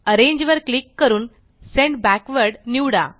arrange वर click करून send backward निवडा